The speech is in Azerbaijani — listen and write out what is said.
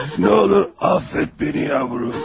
Ne olur affet beni yavrum.